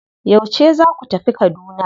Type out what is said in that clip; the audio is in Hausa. Yauce za ku tafi Kaduna?